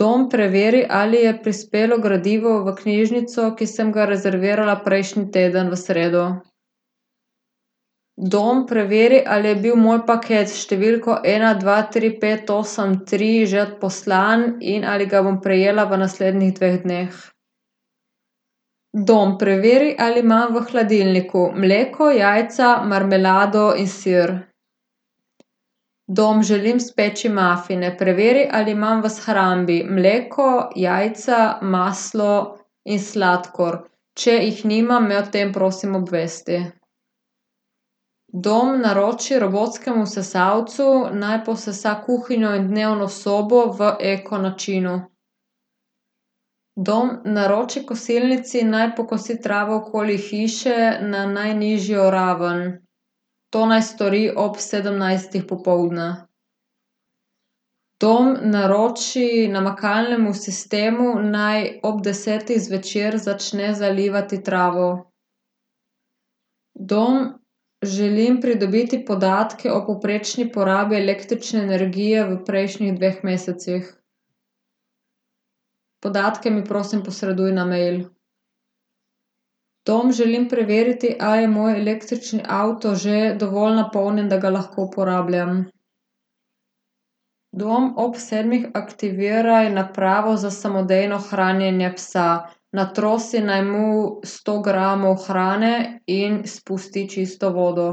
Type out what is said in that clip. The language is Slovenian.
Dom, preveri, ali je prispelo gradivo v knjižnico, ki sem ga rezervirala prejšnji teden v sredo. Dom, preveri, ali je bil moj paket s številko ena dva tri pet osem tri že odposlan in ali ga bom prejela v naslednjih dveh dneh. Dom, preveri, ali imam v hladilniku mleko, jajca, marmelado in sir. Dom, želim speči mafine, preveri, ali imam v shrambi mleko, jajca, maslo in sladkor. Če jih nimam, me o tem prosim obvesti. Dom, naroči robotskemu sesalcu, naj posesa kuhinjo in dnevno sobo v eko načinu. Dom, naroči kosilnici, naj pokosi travo okoli hiše na najnižjo raven. To naj stori ob sedemnajstih popoldne. Dom, naroči namakalnemu sistemu, naj ob desetih zvečer začne zalivati travo. Dom, želim pridobiti podatke o povprečni porabi električne energije v prejšnjih dveh mesecih. Podatke mi, prosim, posreduj na mail. Dom, želim preveriti, a je moj električni avto že dovolj napolnjen, da ga lahko uporabljam. Dom, ob sedmih aktiviraj napravo za samodejno hranjenje psa. Natrosi naj mu sto gramov hrane in spusti čisto vodo.